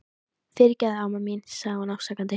Fyrirgefðu, amma mín, segir hún afsakandi.